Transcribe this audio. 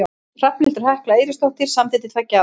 Hrafnhildur Hekla Eiríksdóttir samdi til tveggja ára.